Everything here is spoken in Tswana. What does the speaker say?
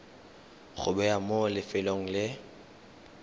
go bewa mo lefelong le